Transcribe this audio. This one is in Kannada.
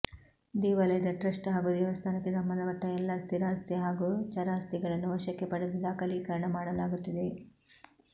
ದೇವಾಲಯದ ಟ್ರಸ್ಟ್ ಹಾಗೂ ದೇವಸ್ಥಾನಕ್ಕೆ ಸಂಬಂಧಪಟ್ಟ ಎಲ್ಲಾ ಸ್ಥಿರಾಸ್ತಿ ಹಾಗೂ ಚರಾಸ್ಥಿಗಳನ್ನು ವಶಕ್ಕೆ ಪಡೆದು ದಾಖಲೀಕರಣ ಮಾಡಲಾಗುತ್ತಿದೆ